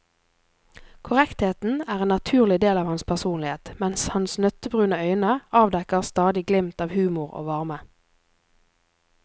Korrektheten er en naturlig del av hans personlighet, men hans nøttebrune øyne avdekker stadig glimt av humor og varme.